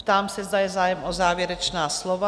Ptám se, zda je zájem o závěrečná slova?